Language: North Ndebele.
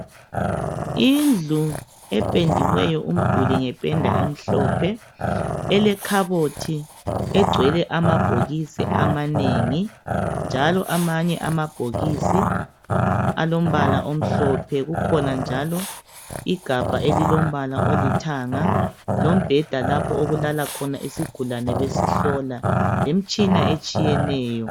Indlu ependiweyo umduli ngependa emhlophe elekhabothi egcwele amabhokisi amanengi njalo amanye amabhokisi alombala omhlophe. Kukhona njalo igabha elilombala olithanga, lombheda lapho okulala khona usigulane besihlola lemtshina etshiyeneyo.